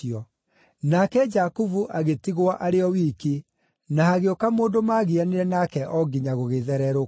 Nake Jakubu agĩtigwo arĩ o wiki, na hagĩũka mũndũ maagianire nake o nginya gũgĩthererũka.